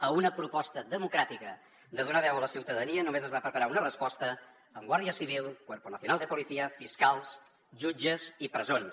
a una proposta democràtica de donar veu a la ciutadania només es va preparar una resposta amb guàrdia civil cuerpo nacional de policía fiscals jutges i presons